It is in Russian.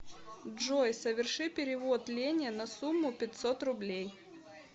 джой соверши перевод лене на сумму пятьсот рублей